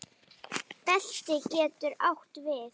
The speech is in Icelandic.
Belti getur átt við